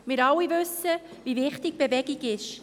Wir alle wissen, wie wichtig Bewegung ist.